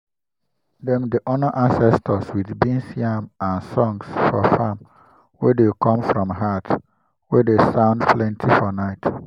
dem dey honour ancestors with beans yam and songs for farm wey dey come from heart wey dey sound plenty for night.